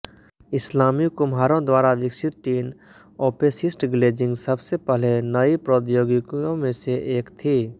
इस्लामी कुम्हारों द्वारा विकसित टिन ओपैसिस्ट ग्लेज़िंग सबसे पहले नई प्रौद्योगिकियों में से एक थी